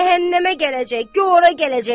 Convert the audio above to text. Cəhənnəmə gələcək, göh ora gələcək.